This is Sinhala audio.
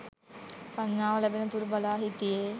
සංඥාව ලැබෙන තුරු බලා සිටියේ